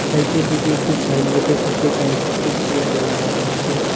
সাইটের দিকে একটি সাইনবোর্ডের সাথে কয়েকটি চেয়ার লাগানো আছে।